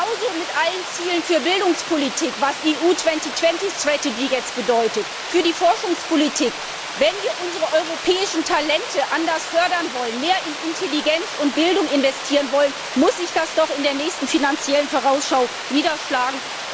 Genauso ist es mit allen Zielen für die Bildungspolitik, was die Strategie Europa 2020 bedeutet. Oder für die Forschungspolitik Wenn wir unsere europäischen Talente anders fördern wollen, mehr in Intelligenz und Bildung investieren wollen, muss sich das doch in der nächsten Finanziellen Vorausschau niederschlagen.